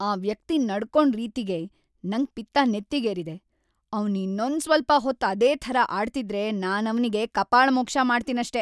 ಆ ವ್ಯಕ್ತಿ ನಡ್ಕೊಂಡ್‌ ರೀತಿಗೆ ನಂಗ್‌ ಪಿತ್ತ ನೆತ್ತಿಗೇರಿದೆ. ಅವ್ನು ಇನ್ನೊಂದ್‌ ಸ್ವಲ್ಪ ಹೊತ್ತು ಅದೇ ಥರ ಆಡ್ತಿದ್ರೆ ನಾನವ್ನಿಗೆ ಕಪಾಳಮೋಕ್ಷ ಮಾಡ್ತೀನಷ್ಟೇ.